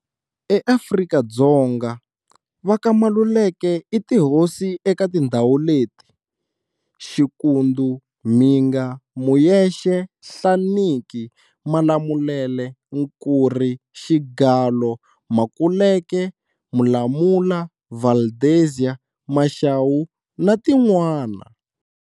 E Afrika-Dzonga, va ka Maluleke i tihosi eka tindhawu leti-Xikundu, Mhinga, Muyexe, Nhlaniki, Malamulele, Nkurhi, Xigalo, Makuleke, Mulamula, Valdezia, Mashawu na tin'wani.